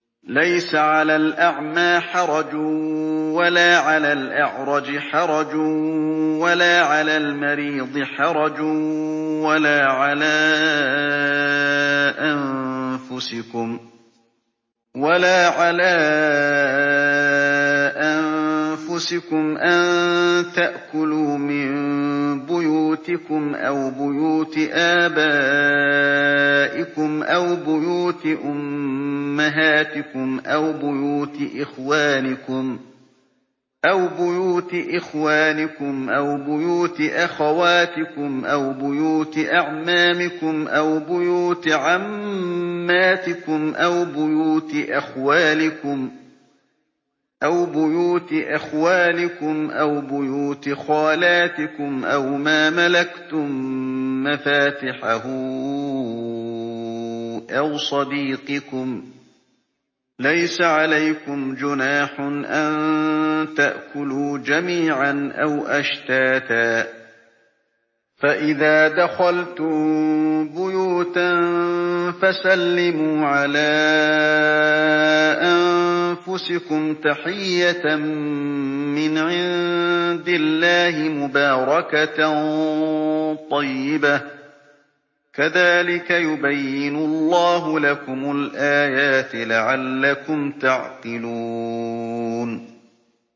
لَّيْسَ عَلَى الْأَعْمَىٰ حَرَجٌ وَلَا عَلَى الْأَعْرَجِ حَرَجٌ وَلَا عَلَى الْمَرِيضِ حَرَجٌ وَلَا عَلَىٰ أَنفُسِكُمْ أَن تَأْكُلُوا مِن بُيُوتِكُمْ أَوْ بُيُوتِ آبَائِكُمْ أَوْ بُيُوتِ أُمَّهَاتِكُمْ أَوْ بُيُوتِ إِخْوَانِكُمْ أَوْ بُيُوتِ أَخَوَاتِكُمْ أَوْ بُيُوتِ أَعْمَامِكُمْ أَوْ بُيُوتِ عَمَّاتِكُمْ أَوْ بُيُوتِ أَخْوَالِكُمْ أَوْ بُيُوتِ خَالَاتِكُمْ أَوْ مَا مَلَكْتُم مَّفَاتِحَهُ أَوْ صَدِيقِكُمْ ۚ لَيْسَ عَلَيْكُمْ جُنَاحٌ أَن تَأْكُلُوا جَمِيعًا أَوْ أَشْتَاتًا ۚ فَإِذَا دَخَلْتُم بُيُوتًا فَسَلِّمُوا عَلَىٰ أَنفُسِكُمْ تَحِيَّةً مِّنْ عِندِ اللَّهِ مُبَارَكَةً طَيِّبَةً ۚ كَذَٰلِكَ يُبَيِّنُ اللَّهُ لَكُمُ الْآيَاتِ لَعَلَّكُمْ تَعْقِلُونَ